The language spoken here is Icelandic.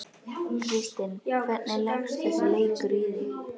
Kristinn, hvernig leggst þessi leikur í þig?